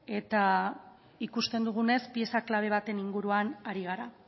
eta ikusten dugunez pieza klabe baten inguruan ari gara